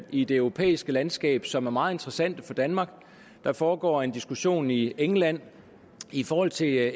i det europæiske landskab som er meget interessante for danmark der foregår en diskussion i england i forhold til